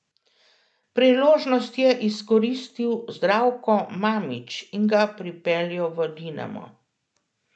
Priložnost je izkoristil Zdravko Mamić in ga pripeljal v Dinamo.